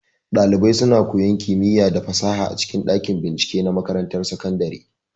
Ɗalibai suna koyan kimiya da fasaha a cikin ɗakin bincike na makarantar sakandare.